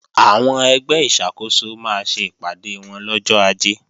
Àwọn ẹgbẹ́ ìṣàkóso máa ṣe ìpàdé wọn lọ́jọ́ Ajé